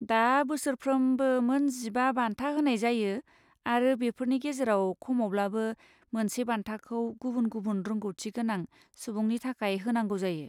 दा बोसोरफ्रोमबो मोन जिबा बान्था होनाय जायो आरो बेफोरनि गेजेराव खमावब्लाबो मोनसे बान्थाखौ गुबुन गुबुन रोंग'थि गोनां सुबुंनि थाखाय होनांगौ जायो।